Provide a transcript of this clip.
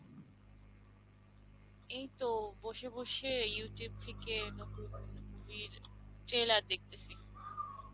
এই তো বসে বসে Youtube থেকে নতুন movie র trailer দেখতাসি